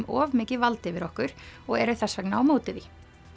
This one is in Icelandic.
of mikið vald yfir okkur og eru þess vegna á móti því